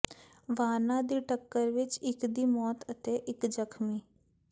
ਵਾਹਨਾਂ ਦੀ ਟੱਕਰ ਵਿਚ ਇਕ ਦੀ ਮੌਤ ਅਤੇ ਇਕ ਜ਼ਖ਼ਮੀ